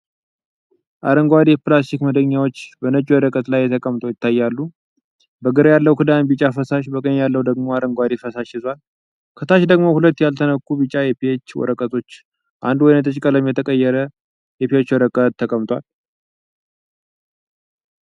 አረንጓዴ የፕላስቲክ መክደኛዎች በነጭ ወረቀት ላይ ተቀምጠው ይታያሉ፤ በግራ ያለው ክዳን ቢጫ ፈሳሽ፣ በቀኝ ያለው ደግሞ አረንጓዴ ፈሳሽ ይዟል። ከታች ደግሞ ሁለት ያልተነኩ ቢጫ የፒኤች ወረቀቶችና አንዱ ወይንጠጅ ቀለም የተቀየረ የፒኤች ወረቀት ተቀምጧል።